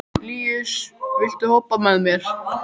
Líus, viltu hoppa með mér?